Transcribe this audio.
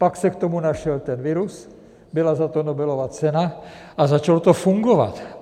Pak se k tomu našel ten virus, byla za to Nobelova cena a začalo to fungovat.